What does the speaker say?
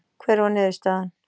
Hver var niðurstaðan